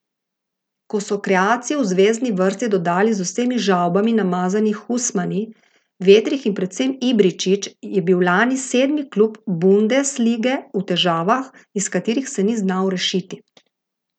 Ko so kreacijo v zvezni vrsti dodali z vsemi žavbami namazani Husmani, Vetrih in predvsem Ibričić, je bil lani sedmi klub bundeslige v težavah, iz katerih se ni znal rešiti.